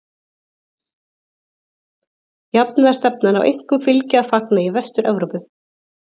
Jafnaðarstefnan á einkum fylgi að fagna í Vestur-Evrópu.